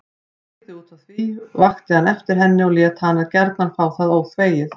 Brygði útaf því, vakti hann eftir henni og lét hana gjarna fá það óþvegið.